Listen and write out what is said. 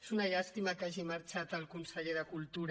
és una llàstima que hagi marxat el conseller de cultura